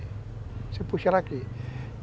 Você puxa ela aqui.